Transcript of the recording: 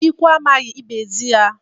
Ikwu amaghị, ibe ezi ya.